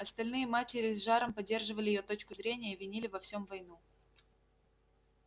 остальные матери с жаром поддерживали её точку зрения и винили во всем войну